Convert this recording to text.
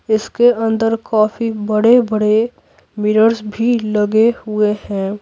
इसके अंदर काफी बड़े-बड़े मिरर्स भी लगे हुए हैं।